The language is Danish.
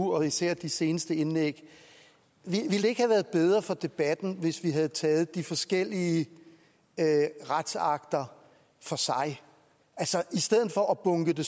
og især i de seneste indlæg ville det ikke have været bedre for debatten hvis vi havde taget de forskellige retsakter for sig i stedet for at bunke det